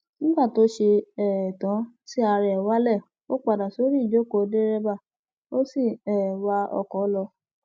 nígbà tó ṣe um tán tí ara ẹ wálẹ ó padà sorí ìjókòó dẹrẹbà ó sì um ń wa ọkọ lọ